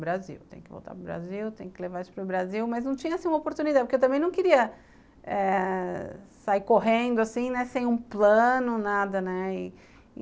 Brasil, tem que voltar para o Brasil, tem que levar isso para o Brasil, mas não tinha uma oportunidade, porque eu também não queria eh sair correndo assim, sem um plano, nada, né. E